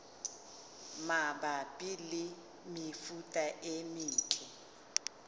mabapi le mefuta e metle